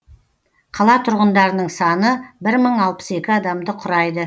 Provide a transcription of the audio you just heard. қала тұрғындарының саны бір мың алпыс екі адамды құрайды